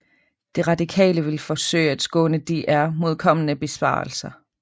De Radikale vil forsøge at skåne DR mod kommende besparelser